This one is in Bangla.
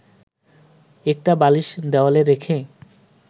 একটা বালিশ দেয়ালে রেখে